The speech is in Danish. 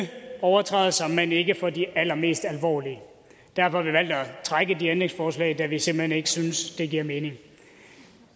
overtrædelser men ikke for de allermest alvorlige derfor har vi valgt at trække de ændringsforslag da vi simpelt hen ikke synes at det giver mening